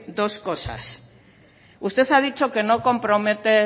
dos cosas usted ha dicho que no compromete